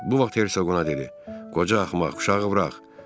Bu vaxt Hersoq ona dedi: Qoca axmaq, uşağı burax.